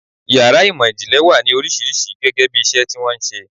Ìyàrá ìmò-ìjìnlẹ̀ wà ní oríṣiríṣi gẹ́gẹ́bí iṣẹ́ tí wọ́n ń ṣe.